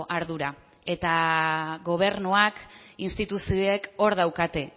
ardura eta gobernuak instituzioek hor daukate